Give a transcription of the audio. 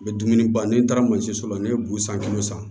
U bɛ dumuni ban ne taara mansinso la ne ye bu san kilo san